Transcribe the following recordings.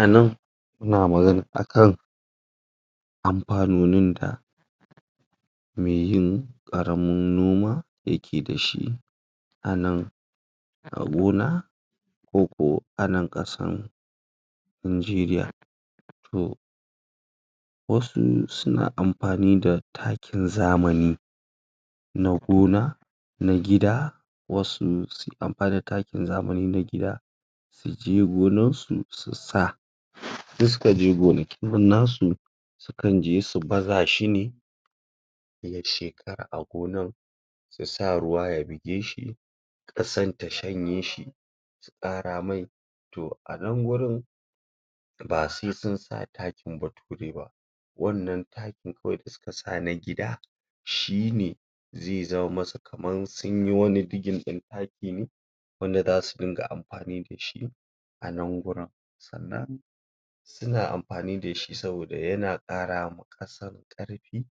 a nan ana magana akan amfanonin da meyin karamin noma yake da shi anan a gona koko a nan kasan nageriya to wasu suna amfani da takin zamani na gona na gida wasu sukan bada takin zamani na gida suje gonarsu su sa in sukaje gonakin nasu je su baza shine ya shekara a gonan su sa ruwa ya bige shi kasan ta shanye shi su kara mai to anan gurin ba sai sun sa takin bature ba wannan takin kawai da suka sa na gida shine zai zaman masa kamar sunyi wani jiggin din taki ne wanda zasu ringa amfani dashia nan gurin sannan suna amfani dashi saboda yana kara ma kasar karfi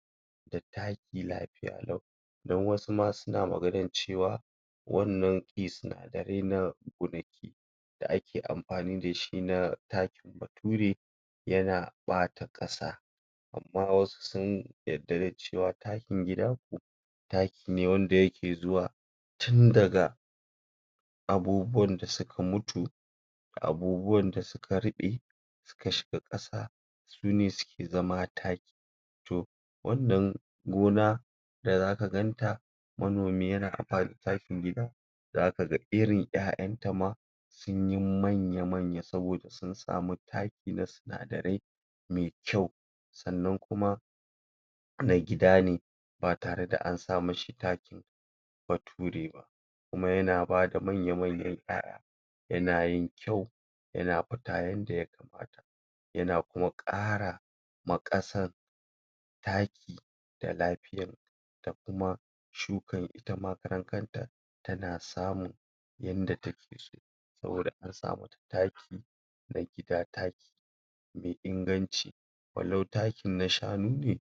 da taki lafiya lau don wasu ma suna maganan cewa wannan sinadarai na gonaki da ake aamfani da shi na takin bature yana bata kasa amma wasu sun yarda da cewa takin gifa taki ne wanda yake zuwa tun daga abubuwan da suka mutu abubuwan da suka rube suka shiga kasa sune suke zama taki to wannan gona da zaka ganta manomi yana amfani da takin gida zakaga irin yayan ta ma sunyi manya manya saboda sun samu takin na sinadarai me kyau sannan kuma na gidane ba tare da ansa mashi na bature ba kuma yana bada manya manyan yaya yana yin kyau yana fita yanda ya kamata yana kuma karama kasar taki da lafiya da kuma shukar itama karan kanta tana samun yanda take so saboda an sa mata taki na gida taki mai inganci walau takin na shanu ne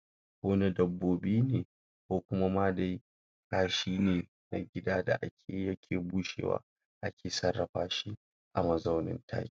kona dabbobi ne ko kuma ma dai kashi ne na gida da akeyi yake bushewa ake sarrafa shi a mazaunin taki